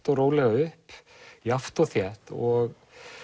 og rólega upp jafnt og þétt og